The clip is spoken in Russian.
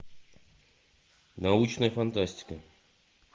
научная фантастика